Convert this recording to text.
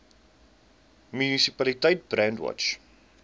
munisipaliteit brandwatch